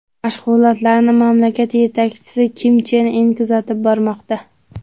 Mashg‘ulotlarni mamlakat yetakchisi Kim Chen In kuzatib bormoqda.